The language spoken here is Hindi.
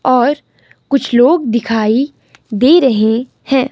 और कुछ लोग दिखाई दे रहे हैं।